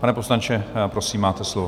Pane poslanče, prosím, máte slovo.